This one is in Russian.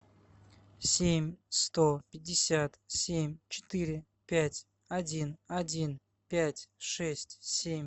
семь сто пятьдесят семь четыре пять один один пять шесть семь